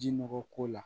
Ji nɔgɔ ko la